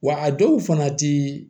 Wa a dɔw fana ti